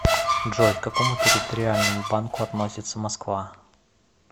джой к какому территориальному банку относится москва